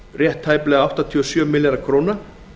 áttatíu og sex komma níu milljarðar króna